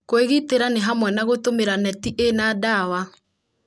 Kwĩgitĩra nĩ hamwe na gũtũmĩra neti ĩna ndawa.